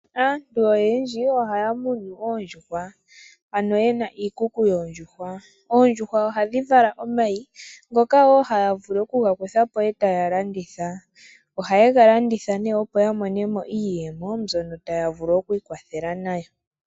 Aantu oyendji oyena iikuku yoondjuhwa. Ohaya vulu oku dhi landithapo nenge sho tadhi vala omayi , omayi ogo haga landithwapo . Oondjuhwa ohadhiliwa woo.